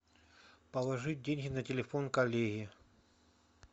положить деньги на телефон коллеге